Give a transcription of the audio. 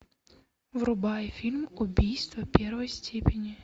врубай фильм убийство первой степени